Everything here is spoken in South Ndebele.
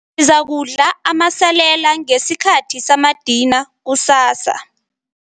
izakudla amasalela ngesikhathi samadina kusasa.